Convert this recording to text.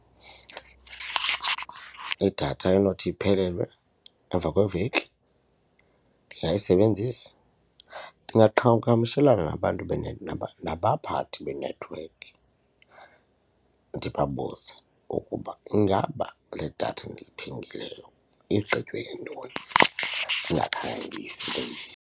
Idatha enothi iphelelwe emva kweveki ndingekayisebenzisi ndingaqhagamshelana nabantu nabaphathi benethiwekhi ndibabuze ukuba ingaba le datha ndiyithengileyo igqitywe yintoni ndingakhange ndiyisebenzise.